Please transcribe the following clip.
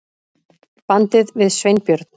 bandið við Sveinbjörn.